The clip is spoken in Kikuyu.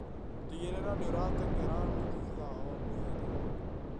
Tigĩrĩra nĩũrateng'era nuthu ithaa o mũthenya